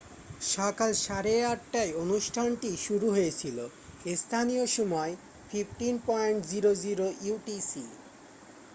সকাল সাড়ে 8:30 টায় অনুষ্ঠানটি শুরু হয়েছিল। স্থানীয় সময় 15.00 utc।